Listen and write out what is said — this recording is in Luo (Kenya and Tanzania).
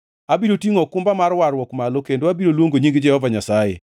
Abiro tingʼo okumba mar warruok malo kendo abiro luongo nying Jehova Nyasaye.